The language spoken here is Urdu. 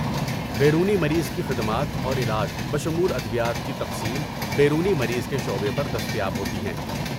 بیرونی مریض کی خدمات اور علاج بشمول ادویات کی تقسیم بیرونی مریض کے شعبے پر دستیاب ہوتی ہیں۔